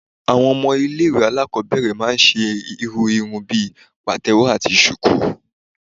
Àwọn ọmọ ilẹ̀ ìwé àlákobere máà ń ṣe irú ìrún bí patewo atí shuku